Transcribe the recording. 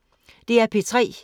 DR P3